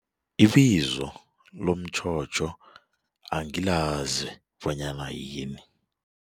Ibizo lomtjhotjho angilazi bonyana yini.